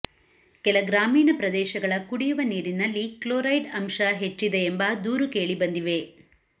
ಕೆಲ ಗ್ರಾಮಿಣ ಪ್ರದೇಶ ಗಳ ಕುಡಿಯುವ ನೀರಿನಲ್ಲಿ ಕ್ಲೊರೈಡ್ ಅಂಶ ಹೆಚ್ಚಿದೆಂಬ ದೂರು ಕೇಳಿ ಬಂದಿವೆ